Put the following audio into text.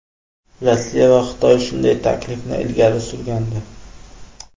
Rossiya va Xitoy shunday taklifni ilgari surgandi.